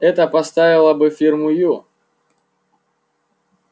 это поставило бы фирму ю